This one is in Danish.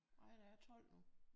Nej der er 12 nu